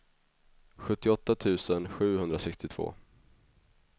sjuttioåtta tusen sjuhundrasextiotvå